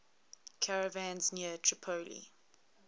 caravans near tripoli